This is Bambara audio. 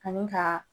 Ani ka